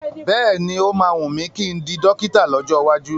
Bẹ́ẹ̀ni,o máa wùn mí kí n di dọ́kítà lọ́jọ́ iwájú.